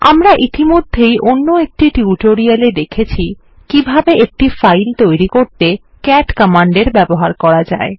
আমরা ইতিমধ্যেই অন্য একটি টিউটোরিয়াল এ দেখেছি কিভাবে একটি ফাইল তৈরি করতে ক্যাট কমান্ডের ব্যবহার করা যায়